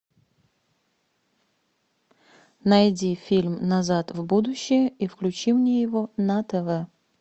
найди фильм назад в будущее и включи мне его на тв